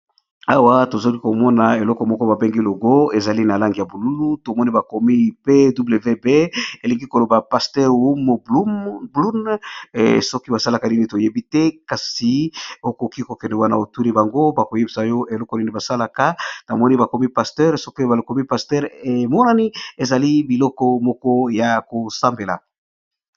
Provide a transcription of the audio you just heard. Awa tozali komona eloko moko babengi logo, ezali na lange ya buluu tomoni bakomi pwb elingi koloba pasteur hom blun soki basalaka nini toyebi te, kasi okoki kokende wana otuli bango bakoyebisa oyo eloko nini basalaka. Tomoni bakomi pasteur soki bakomi pasteur emonani ezali biloko moko ya kosambela.